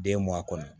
Den m'a kɔnɔ